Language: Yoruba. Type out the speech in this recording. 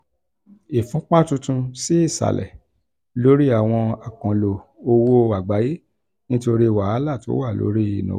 ìfúnpá tuntun sí ìsàlẹ̀ lórí àwọn àkànlò owó àgbáyé nítorí wàhálà tó wà lórí ìnáwó